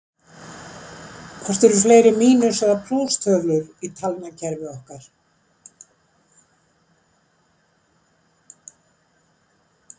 hvort eru fleiri mínus eða plústölur í talnakerfi okkar